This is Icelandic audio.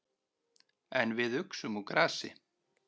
En við uxum úr grasi.